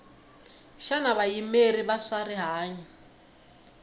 xana vayimeri va swa rihanyu